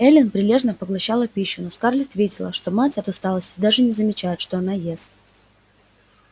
эллин прилежно поглощала пищу но скарлетт видела что мать от усталости даже не замечает что она ест